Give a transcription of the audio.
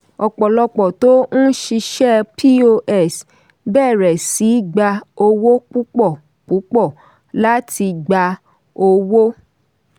ọ̀pọ̀lọpọ̀ tó ń ṣiṣẹ́ pos bẹ̀rẹ̀ sí gba owó púpọ̀ púpọ̀ láti gba owó.